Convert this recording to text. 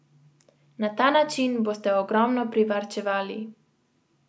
Na ta način boste ogromno privarčevali.